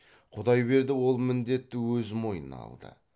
құдайберді ол міндетті өз мойнына алды